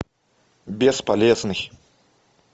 бесполезный